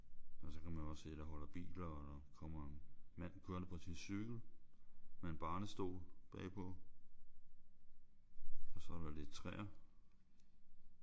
Og så kan man jo også se der holder biler og der kommer en mand kørende på sin cykel med en barnestol bag på. Og så er der lidt træer